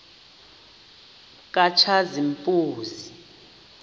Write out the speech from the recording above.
katshazimpuzi